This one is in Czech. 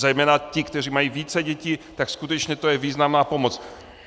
Zejména ti, kteří mají více dětí, tak skutečně to je významná pomoc.